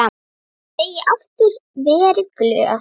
Ég segi aftur: Verið glöð.